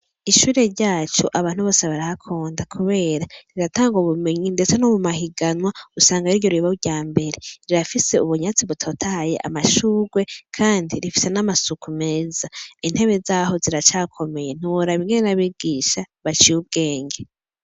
Ishure ryac' abantu bose barahakunda, kubera riratang' ubumenyi, ndetse no mumahiganwa usang' ariryo rib'iry' ambere, rirafis' ubunyatsi butotahay' amashugwe kandi rifise n' amasuku meza, intebe zaho ziracakomeye, ntiworab' ingene n' abigisha baciy' ubwenge.